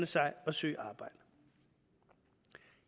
sig og søge arbejde